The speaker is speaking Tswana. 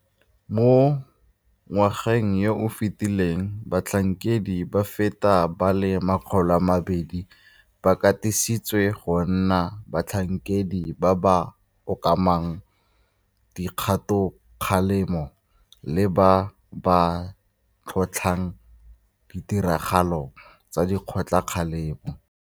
Mo ngwageng yo o fetileng batlhankedi ba feta ba le 200 ba katisitswe go nna batlhankedi ba ba okamang dikgatokgalemo le ba ba tlhotlhang ditiragalo tsa dikgatokgalemo.